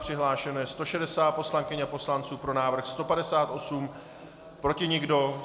Přihlášeno je 160 poslankyň a poslanců, pro návrh 158, proti nikdo.